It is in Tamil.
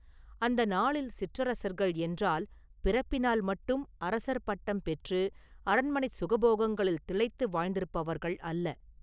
அந்த நாளில் சிற்றரசர்கள் என்றால் பிறப்பினால் மட்டும் ‘அரசர்’ பட்டம் பெற்று அரண்மனைச் சுகபோகங்களில் திளைத்து வாழ்ந்திருப்பவர்கள் அல்ல.